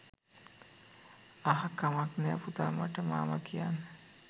අහ් කමක් නෑ පුතා මට මාමා කියන්න